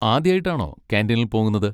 ആദ്യായിട്ടാണോ കാന്റീനിൽ പോകുന്നത്?